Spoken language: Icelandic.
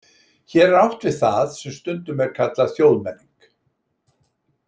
Hér er átt við það sem stundum er kallað þjóðmenning.